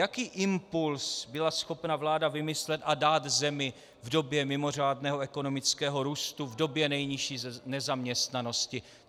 Jaký impuls byla schopna vláda vymyslet a dát zemi v době mimořádného ekonomického růstu, v době nejnižší nezaměstnanosti?